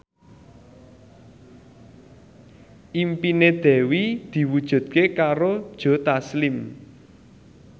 impine Dewi diwujudke karo Joe Taslim